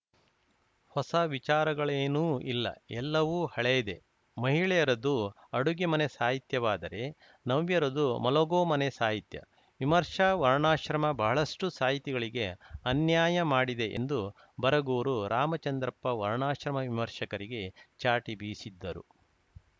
ಹೊಸ ವಿಚಾರಗಳೇನೂ ಇಲ್ಲ ಎಲ್ಲವೂ ಹಳೆಯದೇ ಮಹಿಳೆಯರದು ಅಡುಗೆ ಮನೆ ಸಾಹಿತ್ಯವಾದರೆ ನವ್ಯರದು ಮಲಗೋ ಮನೆ ಸಾಹಿತ್ಯ ವಿಮರ್ಶಾ ವರ್ಣಾಶ್ರಮ ಬಹಳಷ್ಟುಸಾಹಿತಿಗಳಿಗೆ ಅನ್ಯಾಯ ಮಾಡಿದೆ ಎಂದು ಬರಗೂರು ರಾಮಚಂದ್ರಪ್ಪ ವರ್ಣಾಶ್ರಮ ವಿಮರ್ಶಕರಿಗೆ ಚಾಟಿ ಬೀಸಿದ್ದರು